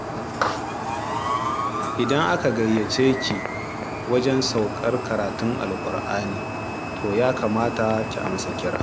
Idan aka gayyace ki wajen saukar karatun Alƙur'ani, to ya kamata ki amsa kira.